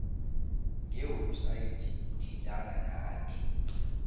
ngewebhsayithi thintana nathi